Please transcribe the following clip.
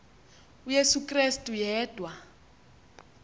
uyesu krestu yedwa